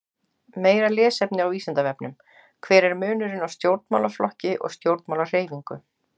Meira lesefni á Vísindavefnum: Hver er munurinn á stjórnmálaflokki og stjórnmálahreyfingu?